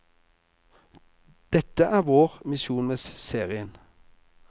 Dette er vår misjon med serien.